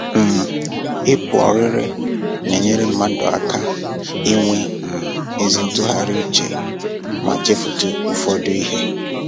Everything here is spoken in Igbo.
um Ịpụ ọrịrị na-enyere mmadụ aka inwe um ezi ntụgharị uche ma chefutu ụfọdụ ihe